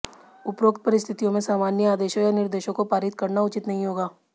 उपरोक्त परिस्थितियों में सामान्य आदेशों या निर्देशों को पारित करना उचित नहीं होगा